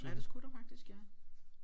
Ja det skulle der faktisk ja